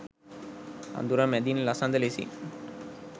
අඳුර මැදින් ලසඳ ලෙසින්